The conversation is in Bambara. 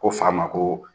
Ko fa ma ko